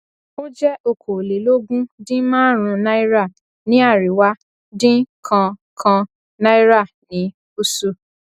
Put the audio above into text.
ó jẹ okòólélógún dín márùnún náírà ní àríwá dín kan kan náírà ní gúsù